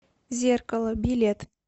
зеркало билет